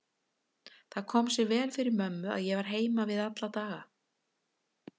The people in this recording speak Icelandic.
Það kom sér vel fyrir mömmu að ég var heima við alla daga.